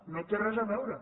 no hi té res a veure